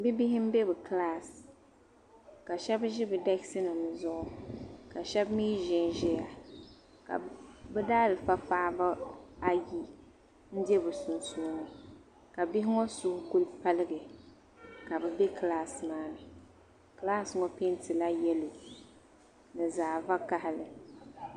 Bibihi m-be bɛ kilaasi ka shɛba ʒi bɛ dɛkisinima zuɣu ka shɛba mi zanzaya ka bɛ daalifa paɣiba ayi be bɛ sunsuuni ka bihi ŋɔ suhu ku paligi ka bɛ be kilaasi maa ni. Kilaasi ŋɔ peentila yɛlo ni zaɣ' vakahili.